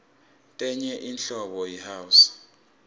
tenye inhlobo yi house